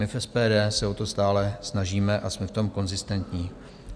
My v SPD se o to stále snažíme a jsme v tom konzistentní.